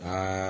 Ɛɛ